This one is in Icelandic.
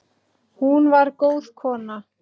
Hún var góð kona.